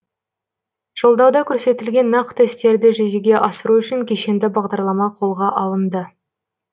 жолдауда көрсетілген нақты істерді жүзеге асыру үшін кешенді бағдарлама қолға алынды